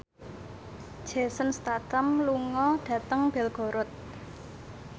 Jason Statham lunga dhateng Belgorod